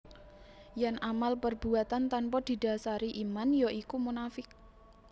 Yen amal perbuatan tanpa didasari iman ya iku munafiq